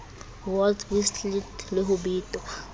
wolf whistled le ho betwa